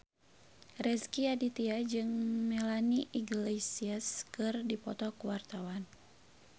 Rezky Aditya jeung Melanie Iglesias keur dipoto ku wartawan